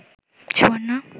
Suborna